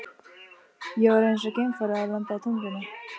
Ég var eins og geimfari að lenda á tunglinu.